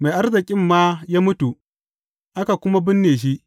Mai arzikin ma ya mutu, aka kuma binne shi.